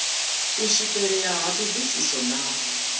u swikelea ha thodisiso na